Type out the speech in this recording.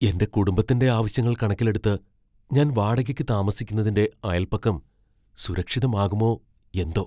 എന്റെ കുടുംബത്തിന്റെ ആവശ്യങ്ങൾ കണക്കിലെടുത്ത് ഞാൻ വാടകയ്ക്ക് താമസിക്കുന്നതിന്റെ അയല്പക്കം സുരക്ഷിതമാകുമോ എന്തോ.